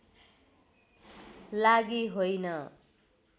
लागि होइन